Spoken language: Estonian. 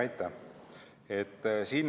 Aitäh!